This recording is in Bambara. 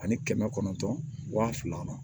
Ani kɛmɛ kɔnɔntɔn wa fila